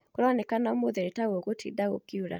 Kũronekana ũmũthĩ nĩtagũgũtinda gũkiura